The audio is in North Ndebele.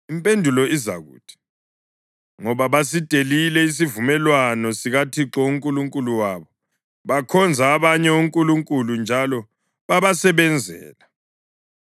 Impendulo izakuthi: ‘Ngoba basidelile isivumelwano sikaThixo uNkulunkulu wabo bakhonza abanye onkulunkulu njalo babasebenzela.’ ”